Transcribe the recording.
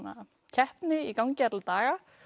keppni í gangi alla daga